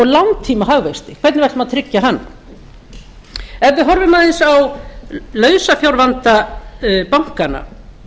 langtíma hagvexti hvernig við ætlum að tryggja hann ef við horfum aðeins á lausafjárvanda bankanna